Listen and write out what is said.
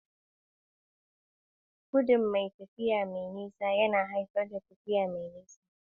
Gudun tafiya mai nisa yana haifar da tafiya mafi nisa.